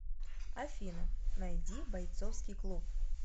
афина найди бойцовский клуб